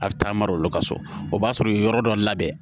A bɛ taa mara o la ka so o b'a sɔrɔ yɔrɔ dɔ labɛn